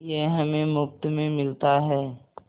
यह हमें मुफ्त में मिलता है